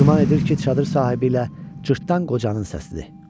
Güman edir ki, çadır sahibi ilə cırtdan qocanın səsidir.